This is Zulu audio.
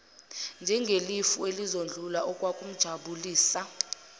njengefu elizodlula okwakumjabulisa